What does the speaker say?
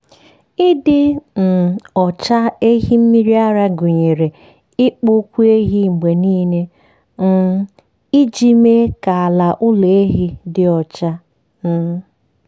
ịdị um ọcha ehi mmiri ara gụnyere ịkpụ ụkwụ ehi mgbe niile um iji mee ka ala ụlọ ehi dị ọcha. um